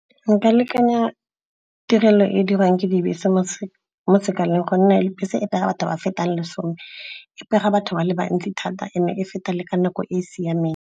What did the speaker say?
Nka lekanya tirelo e e dirwang ke dibese mo sekaleng gonne bese e pega batho ba fetang lesome. E pega batho ba le bantsi thata eme e feta le ka nako e e siameng.